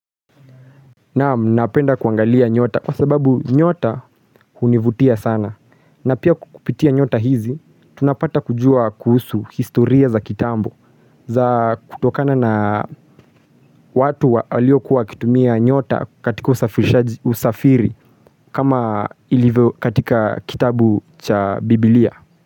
Naamu, napenda kuangalia nyota kwa sababu nyota univutia sana. Na pia kukupitia nyota hizi, tunapata kujua kuhusu historia za kitambo za kutokana na watu walio kuwa wakitumia nyota katika usafiri kama ilivyo katika kitabu cha biblia.